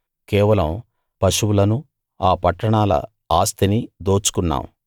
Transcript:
కేవలం పశువులనూ ఆ పట్టణాల ఆస్తినీ దోచుకున్నాం